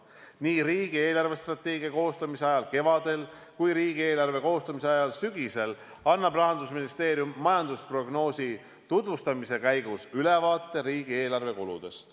Nii riigi eelarvestrateegia koostamise ajal kevadel kui ka riigieelarve koostamise ajal sügisel annab Rahandusministeerium majandusprognoosi tutvustamise käigus ülevaate riigieelarve kuludest.